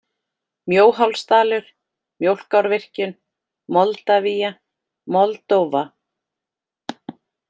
Mjóhálsdalur, Mjólkárvirkjun, Moldavía, Moldóva